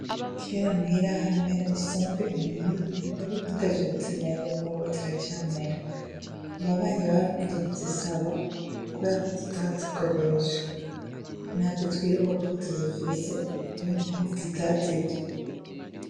Kera muhira ho aramera isombe inyuma y'urugo, ariko ntavyebutse neza n'ubozira camera ababanyi barakunda kuzisaba kubeako tutadikoresha na vyo twibuka ko tuzifise iyompavu dutazirye.